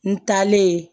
N taalen